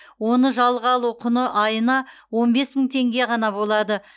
оны жалға алу құны айына он бес мың теңге ғана болады